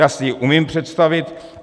Já si ji umím představit.